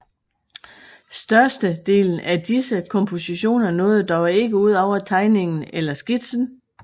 Største delen af disse kompositioner nåede dog ikke ud over tegningen eller skitsen